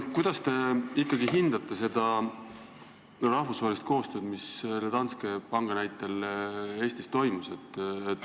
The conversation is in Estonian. Kuidas te ikkagi hindate rahvusvahelist koostööd, mis Danske panga näitel Eestis toimus?